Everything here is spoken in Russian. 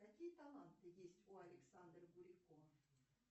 какие таланты есть у александры бурико